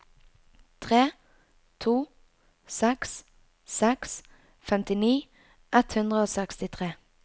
tre to seks seks femtini ett hundre og sekstitre